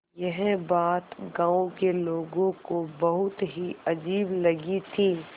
यह बात गाँव के लोगों को बहुत ही अजीब लगी थी